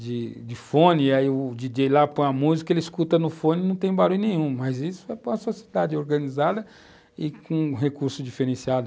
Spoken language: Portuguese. de fone, e aí o DJ lá põe a música, ele escuta no fone, não tem barulho nenhum, mas isso é para uma sociedade organizada e com recurso diferenciado.